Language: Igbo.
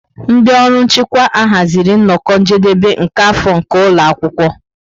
Ndị ọrụ nchịkwa ahaziri nnọkọ njedebe nke afọ nke ụlọ akwụkwọ.